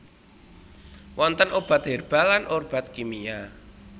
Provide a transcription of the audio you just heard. Wonten obat herbal lan obat kimia